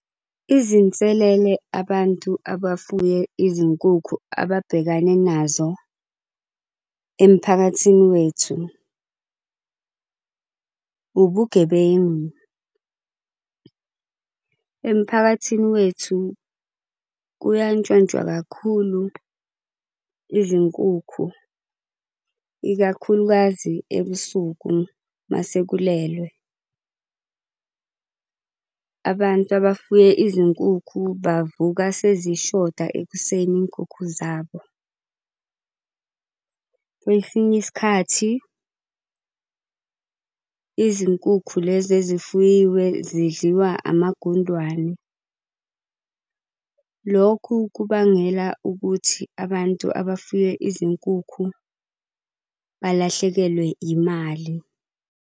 Izinselele abantu abafuye izinkukhu ababhekane nazo emphakathini wethu ubugebengu. Emphakathini wethu kuyantshontshwa kakhulu izinkukhu, ikakhulukazi ebusuku, uma sekulelwe. Abantu abafuye izinkukhu bavuka sezishoda ekuseni iy'nkukhu zabo. Kwesinye isikhathi izinkukhu lezi ezifuyiwe zidliwa amagundwane. Lokhu kubangela ukuthi abantu abafuye izinkukhu balahlekelwe imali.